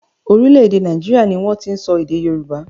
Orílẹ̀-èdè Nàìjíríà ni wọ́n ti ń sọ èdè Yorùbá.